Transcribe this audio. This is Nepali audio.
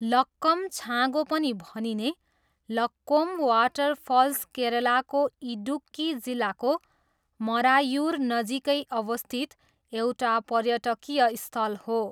लक्कम छाँगो पनि भनिने लक्कोम वाटर फल्स केरलाको इडुक्की जिल्लाको मरायुरनजिकै अवस्थित एउटा पर्यटकीय स्थल हो।